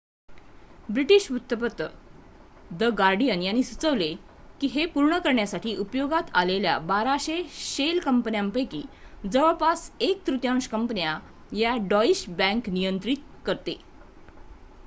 British वृत्तपत्र the Guardian यांनी सुचवले की हे पूर्ण करण्यासाठी उपयोगात आलेल्या 1200 शेल कंपन्यापैकी जवळपास एक तृतीयांश कंपन्या या डॉईश बँक नियंत्रित करते